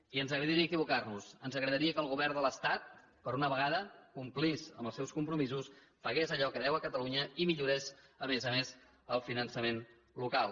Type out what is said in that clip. i ens agradaria equivocar nos ens agradaria que el govern de l’estat per una vegada complís amb els seus compromisos pagués allò que deu a catalunya i millorés a més a més el finançament local